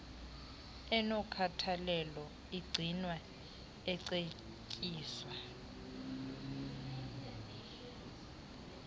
enokhathalelo agcinwa ecetyiswa